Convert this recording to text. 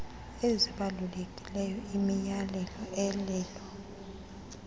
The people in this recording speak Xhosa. ezibalulekileyo imiyalelo elolo